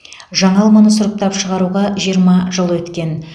жаңа алманы сұрыптап шығаруға жиырма жыл өткен